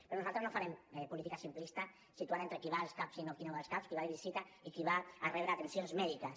però nosaltres no farem política simplista situant ho entre qui va als cap i qui no va als cap qui va de visita i qui va a rebre atencions mèdiques